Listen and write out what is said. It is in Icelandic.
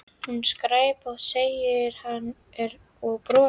Hún er skræpótt segir hann og brosir.